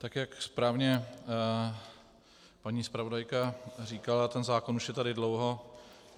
Tak jak správně paní zpravodajka říkala, ten zákon už je tady dlouho.